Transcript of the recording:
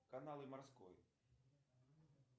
каналы морской